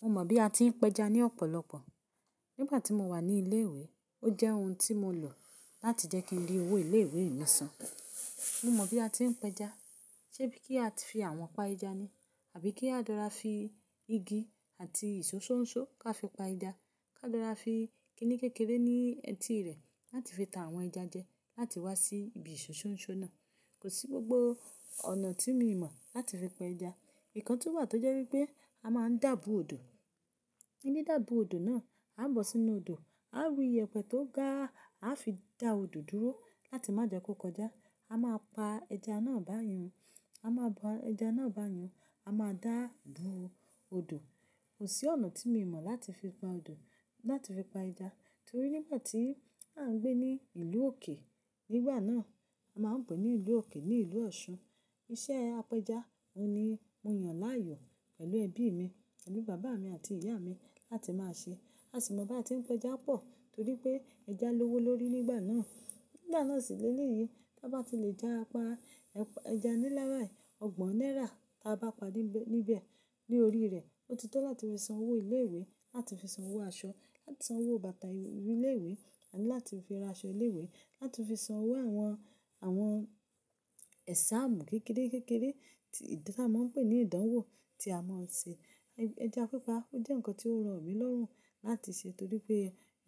Mo mọ̀ bí a ti ń pẹja ní ọ̀pọ̀lọpọ̀. Nígbà tí mo wà ní ilé ìwé, ó jẹ́ ohun tí mo lò láti jẹ́ kí n rí owó ilé ìwé mi san. Mo mọ bí a ti ń pẹja, ṣe bí kí á fi àwọn pá ìjà ni, àbí kí á dára fi igi àti ìṣó ṣóńṣó ká fi pa ẹja, ká dára fi kínì kékeré ní etí rẹ̀ láti fi tan àwọn ẹja jẹ, láti wá sí ibi ìṣó ṣóńṣó náà. Kò sí gbogbo ọ̀nà tí mi mọ̀ láti fi pa ẹja. Nǹkan tún wà tó jẹ́ wípé a máa ń dàbù odò. Níni dàbù odò náà, a bọ́ sínú odò, a ru ìyẹ̀pẹ̀ tó ga, a fi dà odò dúró láti má jẹ́ kó kọjá. A máa pa ẹja náà báyẹn, a máa bọ ẹja náà báyẹn, a máa dàbù odò. Kò sí ọ̀nà tí mo mọ̀ láti fi pa odò, láti fi pa ẹja. Torí nígbà tí à ń gbé ní ìlú òkè, nígbà náà a máa ń pè é ní ìlú òkè ní ìlú Ọ̀ṣun. Iṣẹ́ apẹja, òun ni mo yàn láàyò pẹ̀lú ẹbí mi, pẹ̀lú bàbá mi àti ìyá mi láti máa ṣe. A sì mọ̀ bá ti ń pẹja pọ̀ torí pé ẹja lówó lórí nígbà náà. Nígbà náà sì léleyì, tá bá tí lè já pa ẹja ní nlá bayi ọgbọ̀n náírà, tá bá pa níbẹ̀, ní orí rẹ̀, ó ti tó láti fi san owó ilé ìwé, láti fi san owó aṣọ, láti san owó bàtà ilé ìwé, àbí láti fi ra aṣọ ilé ìwé, láti fi san owó àwọn, àwọn exam kékeré-kékeré tí, tí a máa ń pè ní ìdánwò tí a máa ń ṣe. Ẹja pípa ó jẹ́ ǹkan tí ó rọ̀ mí lọ́rùn láti ṣe torí pé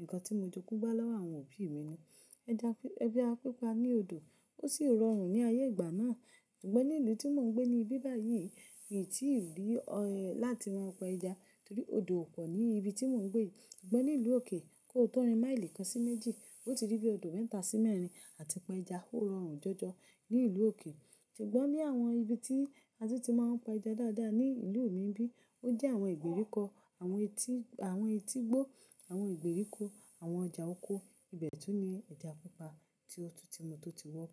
nǹkan tí mo jógun bá lọ́wọ́ àwọn òbí mi ni. Ẹja, ẹja pípa ní odò ó sì rọrùn ní ayé ìgbà náà. Ṣùgbọ́n ní ìlú tí mò ń gbé níbí báyìí, mi í tí ì rí ọ, láti máa pẹja torí odò ò pọ̀ ní ibi tí mò ń gbé. Ṣùgbọ́n ní ìlú òkè, kó tó rin maili kan sí méjì, ó ti rí bí odò mẹ́ta sí mẹ́rin àti pa ẹja ó rọrùn jọjọ ní ìlú òkè. Ṣùgbọ́n ní àwọn ibi tí a tún ti máa ń pa ẹja dáadáa ní ìlú mi nbí, ó jẹ́ àwọn ìgbèríko, àwọn etí, àwọn etígbó, àwọn ìgbèríko, àwọn ọjà oko. Ibẹ̀ tún ní ẹja pípa tí mo tó ti wọ́pọ̀